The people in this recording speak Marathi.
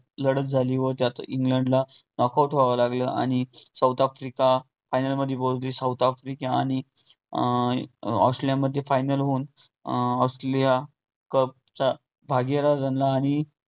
लडत झाली व त्यात इंग्लंडला knock out व्हावं लागलं आणि साऊथ आफ्रिका final मध्ये पोहचली साऊथ आफ्रिका आणि अं ऑस्ट्रेलियामध्ये final होऊन अं ऑस्ट्रेलिया cup चा भागीदार बनला आणि